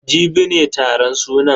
Jibi ne taron sunan.